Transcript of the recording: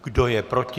Kdo je proti?